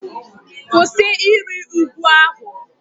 Kwụsị ịrị ugwu ahụ!